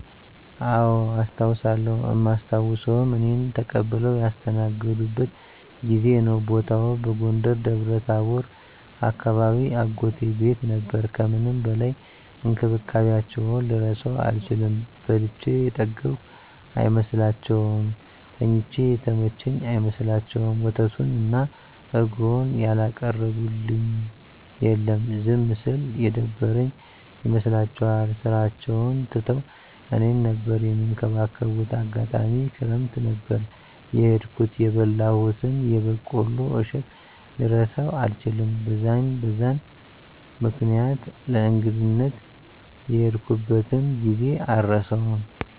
አዎ አስታዉሳለው እማስታዉሰዉም እኔን ተቀብለዉ ያስተናገዱበትን ጊዜ ነዉ። ቦታዉም በጎንደር ደብረታቦር አካባቢ አጎቴ ቤት ነበር ከምንም በላይ እንክብካቤያቸዉን ልረሳዉ አልችልም። በልቼ የጠገብኩ አይመስላቸዉም፣ ተኝቼ የተመቸኝ አይመስላቸዉም፣ ወተቱን እና እረጎዉን ያላቀረቡልኝ የለም። ዝም ስል የደበረኝ ይመስላቸዋል ስራቸዉን ትተዉ እኔን ነበር እሚንከባከቡት፣ አጋጣሚ ክረምት ነበር የሄድኩት የበላሁትን የበቆሎ እሸት ልረሳዉ አልችልም። በዛን በዛን ምክኒያት ለእንግድነት የሄድኩበትን ጊዜ አረሳዉም።